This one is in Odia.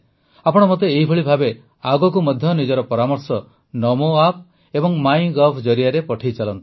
ଆପଣ ମୋତେ ଏହିଭଳି ଭାବେ ଆଗକୁ ମଧ୍ୟ ନିଜ ପରାମର୍ଶ ନମୋ ଆପ୍ ଏବଂ ମାଇ ଗଭ୍ ଜରିଆରେ ପଠାଇଚାଲନ୍ତୁ